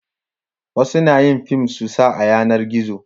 wasu na yin fim su sa a yanar gizo